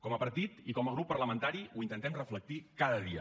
com a partit i com a grup parlamentari ho intentem reflectir cada dia